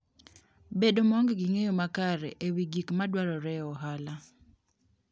Bedo maonge gi ng'eyo makare e wi gik madwarore e ohala.